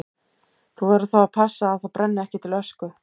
Þú verður þá að passa að það brenni ekki til ösku.